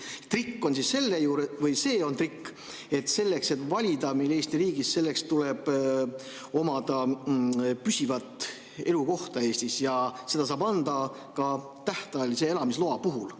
Trikk on see: selleks, et meil Eesti riigis valida, tuleb omada püsivat elukohta Eestis, ja seda saab omada ka tähtajalise elamisloa puhul.